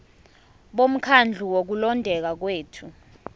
bomkhandlu wokulondeka kwethu